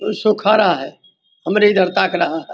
खड़ा है हमरे इधर ताक रहा है ।